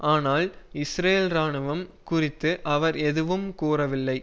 ஆனால் இஸ்ரேல் இராணுவம் குறித்து அவர் எதுவும் கூறவில்லை